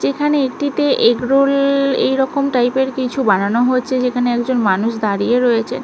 যেখানে একটিতে এগরোল এইরকম টাইপ -এর কিছু বানানো হচ্ছে যেখানে একজন মানুষ দাঁড়িয়ে রয়েছে ।